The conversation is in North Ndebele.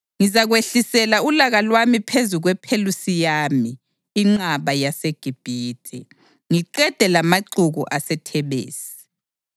Ngizakwehlisela ulaka lwami phezu kwePhelusiyami, inqaba yaseGibhithe, ngiqede lamaxuku aseThebesi.